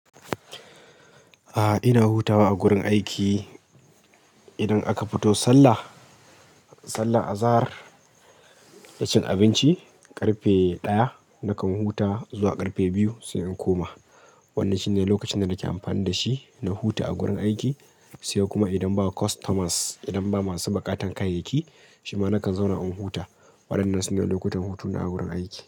A'a, ina hutawa a gurin aiki. Idan aka futo sallah, sallar azahar, da cin abinci, ƙarfe ɗaya nakan huta zuwa ƙarfe biyu sai in koma. Wannan shine lokacin da nake amfani da shi na huta a gurin aiki, sai kuma idan ba customers, idan ba masu buƙatar kayayyaki, shi ma nakan zauna in huta. Waɗannan su ne lokutan hutuna a gurin aiki.